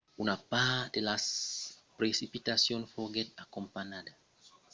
una part de las precipitacions foguèt acompanhada d'auratges e de lamps frequents